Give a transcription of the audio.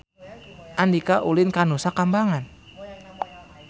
Andika ulin ka Nusa Kambangan